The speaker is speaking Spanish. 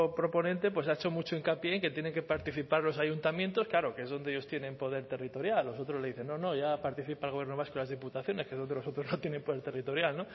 proponente pues ha hecho mucho hincapié en que tienen que participar los ayuntamientos claro que es donde ellos tienen poder territorial los otros le dicen no no ya participa el gobierno vasco y las diputaciones que es donde los otros no tienen poder territorial